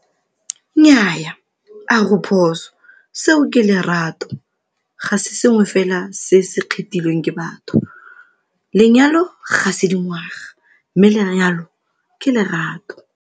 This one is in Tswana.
Nnyaa, a go phoso seo ke lerato ga se sengwe fela se se kgethilweng ke batho. Lenyalo ga se dingwaga, mme lenyalo ke lerato.